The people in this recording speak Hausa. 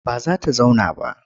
Ba za ta zauna ba.